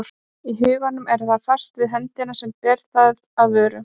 Í huganum er það fast við höndina sem ber það að vörunum.